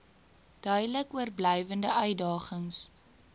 duidelik oorblywende uitdagings